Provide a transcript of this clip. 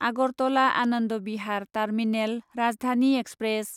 Agartala Anand Vihar terminal Rajdhani express